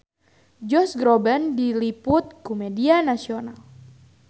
Josh Groban diliput ku media nasional